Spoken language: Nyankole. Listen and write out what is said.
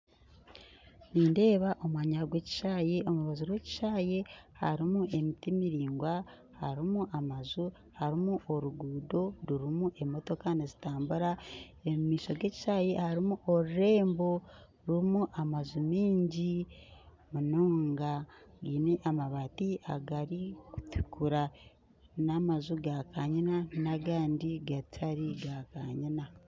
Nindeeba omwanya gwe ekishaayi omu rubaju rw'ekishaayi harimu emiti miringwa harimu amaju harimu oruguuto, rurimu emotoka nizitambura omu maisho g'ekishaayi harimu orurembo rurimu amaju mingi munonga gine amabati agarikutukura, n'amaju gakanyina n'agandi gatari gakanyina